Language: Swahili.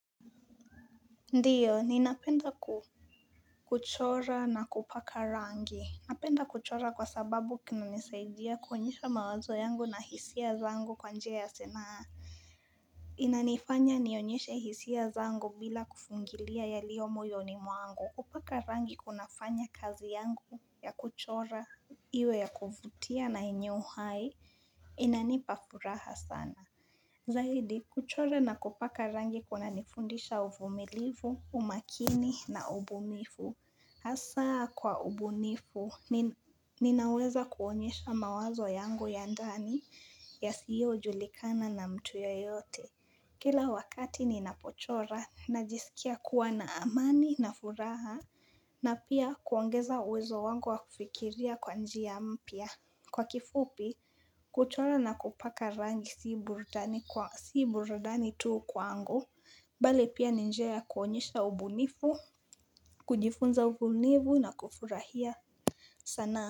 Ndiyo, ninapenda kuchora na kupaka rangi. Napenda kuchora kwa sababu kinanisaidia kuonyesha mawazo yangu na hisia zangu kwanjia ya sanaa. Inanifanya nionyesha hisia zangu bila kufungilia ya liomoyo ni mwangu. Kupaka rangi kuna fanya kazi yangu ya kuchora iwe ya kuvutia na yenye uhai. Inanipafuraha sana. Zahidi, kuchora na kupaka rangi kuna nifundisha uvumilivu, umakini na ubunifu. Asa kwa ubunifu, ninaweza kuonyesha mawazo yangu ya ndani ya siyo julikana na mtu yeyote. Kila wakati ninapochora, najisikia kuwa na amani na furaha, na pia kuongeza uwezo wangu wa kufikiria kwanjia mpia. Kwa kifupi kuchora na kupaka rangi si burudani kwa si burudani tuu kwa angu Bale pia ninjea kuonyesha ubunifu kujifunza ubunifu na kufurahia sanaa.